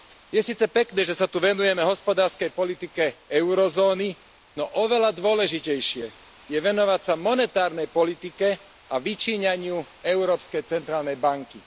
Je síce pekné, že sa tu venujeme hospodárskej politike eurozóny, no oveľa dôležitejšie je venovať sa monetárnej politike a vyčíňaniu Európskej centrálnej banky.